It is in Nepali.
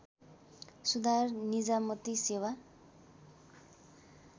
सुधार निजामती सेवा